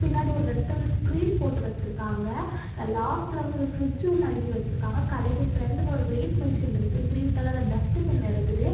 பின்னாடி ஒரு ரெட் கலர்ல ஸ்கிரீன் போட்டு வச்சிருக்காங்க லாஸ்ட்ல வந்து ஒரு ஃப்ரிட்ஜ் ஒன்னு அடுக்கி வச்சிருக்காங்க கடைக்கு ஃப்ரெண்ட்ல ஒரு வெயிட் மிஷின் ஒன்னு இருக்கு கிரீன் கலர்ல டஸ்பின் இருக்குது.